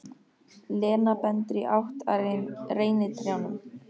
Lena bendir í átt að reynitrjánum.